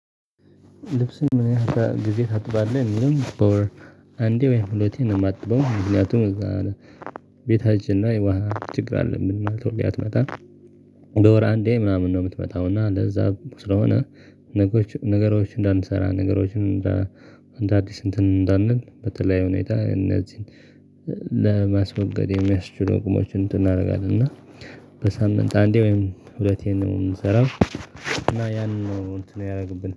ልብስን ምን ያህል ጊዜ ታጥባለህ የሚልም በወር አንዴ ወይም ሁለቴ የማጥበው ምክንያቱም ቤታችን ላይ ውሃ ችግር አለ ምን ማለት ነው? ሁሌ አትመጣም በወር አንዴ ምናምን ነው የምትመጣው። እና ለዛ ስለሆነ ነገሮች እንዳንሰራ ነገሮችን እንደ አዲስ እንትን እንዳንል በተለይ ሁኔታ እነዚህን እ ለማስወገድ የሚያስችሉ አቅሞችን እንትን አናደርጋለሁ። እና በሳምንት አንዴ ወይም ሁለቴ ነው የምንሰራው። እና ያንን ነው እንትን ያደረግብን